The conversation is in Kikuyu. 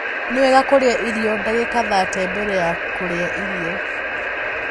Ni wega kurĩa irio ndagika thate mbere ya kurĩa irio